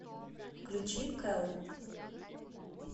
включи кэлл